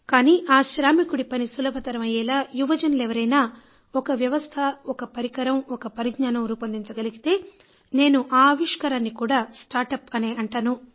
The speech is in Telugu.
కానీ ఆ శ్రామికుడి పని సులభతరం అయ్యేలా యువజనులు ఎవరైనా ఒక వ్యవస్థ ఒక పరికరం ఒక పరిజ్ఞానం రూపొందించగలిగితే నేను ఆ ఆవిష్కారాన్ని కూడా స్టార్ట్ అప్ అనే అంటాను